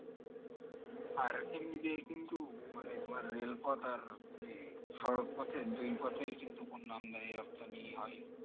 আর এমনি তে কিন্তু মানে তুমার রেলপথ আর ই সড়কপথের দুইপথের কিন্তু পণ্য আমদানি রপ্তানি হয়